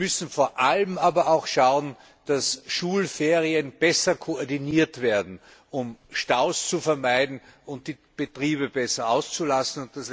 Wir müssen vor allem aber auch schauen, dass Schulferien besser koordiniert werden, um Staus zu vermeiden und die Betriebe besser auszulasten.